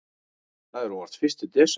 Það er óvart fyrsti desember.